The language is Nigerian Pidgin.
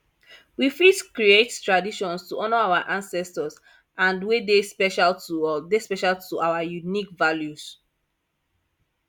we fit create traditions to honor our ancestors and wey dey special to dey special to our unique values